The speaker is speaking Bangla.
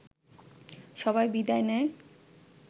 সবাই বিদায় নেয়